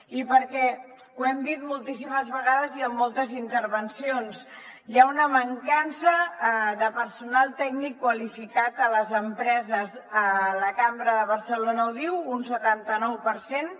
i perquè ho hem dit moltíssimes vegades i en moltes intervencions hi ha una mancança de personal tècnic qualificat a les empreses la cambra de barcelona ho diu un setanta nou per cent